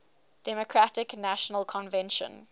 democratic national convention